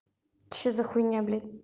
что за хуйня блядь